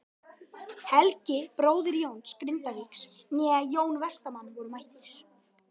Helgi bróðir Jóns Grindvíkings né Jón Vestmann voru mættir.